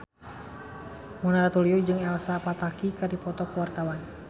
Mona Ratuliu jeung Elsa Pataky keur dipoto ku wartawan